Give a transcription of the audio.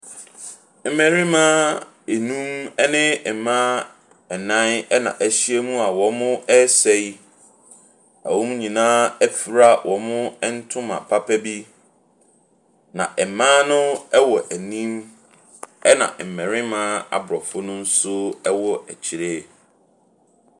Mmarima nnum ne mmaa nnan na ahyia mu a wɔresa yi. Wɔn nyinaa afura wɔn ntoma papa bi. Na mmaa no wɔ anim na mmarima aborɔfo ne nso wɔ akyire.